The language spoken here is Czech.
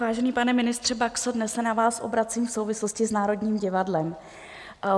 Vážený pane ministře Baxo, dnes se na vás obracím v souvislosti s Národním divadlem.